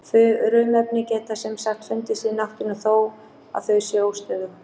Frumefni geta sem sagt fundist í náttúrunni þó að þau séu óstöðug.